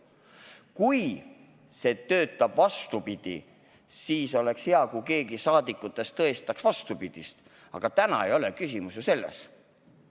Kui see töötab teisiti, siis oleks hea, kui keegi rahvasaadikutest tõestaks vastupidist, aga täna ei ole küsimus ju selles.